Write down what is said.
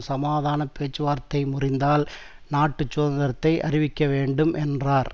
சமாதான பேச்சுவார்த்தை முறிந்தால் நாட்டு சுதந்திரத்தை அறிவிக்க வேண்டும் என்றார்